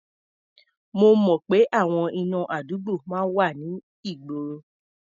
Mo mọ̀ pé àwọn iná àdúgbò wà ní ìgboro.